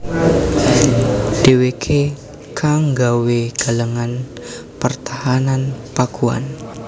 Dhèwèké kang nggawé galengan pertahanan Pakuan